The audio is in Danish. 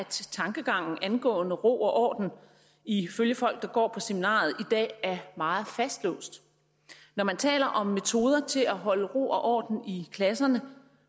tankegangen angående ro og orden ifølge folk der går på seminariet i dag er meget fastlåst når man taler om metoder til at holde ro og orden i klasserne